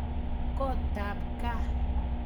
kotap gaa